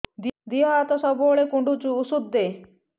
ଦିହ ହାତ ସବୁବେଳେ କୁଣ୍ଡୁଚି ଉଷ୍ଧ ଦେ